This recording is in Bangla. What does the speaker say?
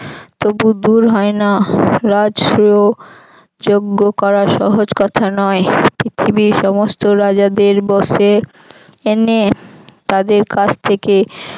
তবু দুর হয় না রাষ্ট্র যঞ্জ করা সহজ কথা নয়। পৃথিবীর সমস্ত রাজাদের বশে এনে তাদের কাছ থেকে